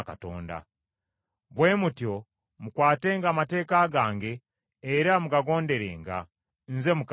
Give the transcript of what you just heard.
“Bwe mutyo mukwatenga amateeka gange era mugagonderenga. Nze Mukama Katonda.